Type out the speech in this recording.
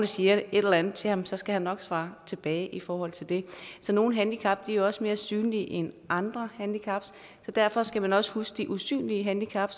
siger et eller andet til ham skal han nok svare tilbage i forhold til det nogle handicap er også mere synlige end andre handicap så derfor skal man også huske de usynlige handicap